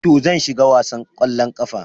To, zan shiga wasan kwallon kafa.